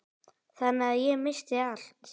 Þannig að ég missti allt.